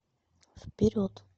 вперед